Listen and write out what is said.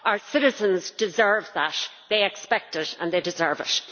Our citizens deserve that they expect it and they deserve it.